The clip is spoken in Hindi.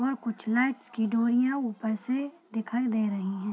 और कुछ लाइट्स की डोरियाँ ऊपर से दिखाई दे रही हैं।